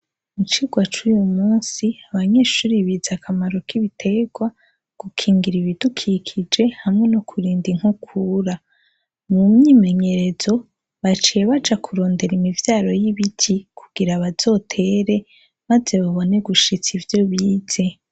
Icirwa c'uyu musi, abanyeshure bize akamaro kibiterwa, gukinira ibidukikije hamwe no kurinda inkukura. Mu mwimenyerezo baciye baja kurondera imivyaro y'ibiti kugira bazotere maze babone gushitsa ivyo bize.